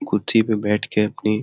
कुत्थि पे बैठ के अपनी --